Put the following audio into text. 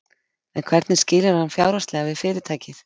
En hvernig skilur hann fjárhagslega við fyrirtækið?